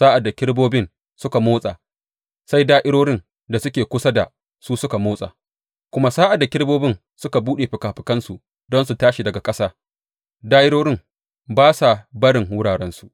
Sa’ad da kerubobin suka motsa, sai da’irorin da suke kusa da su su motsa; kuma sa’ad da kerubobin suka buɗe fikafikansu don su tashi daga ƙasa, da’irorin ba sa barin wurarensu.